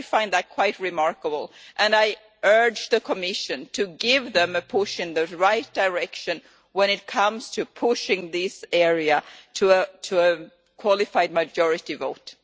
I find that quite remarkable, and I urge the Commission to give them a push in the right direction when it comes to pushing this area to a qualified majority vote.